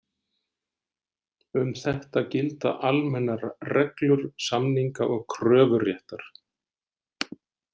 Um þetta gilda almennar reglur samninga- og kröfuréttar.